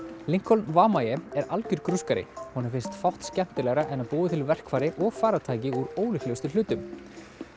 lincoln Wamae er algjör honum finnst fátt skemmtilegra en að búa til verkfæri og farartæki úr ólíklegustu hlutum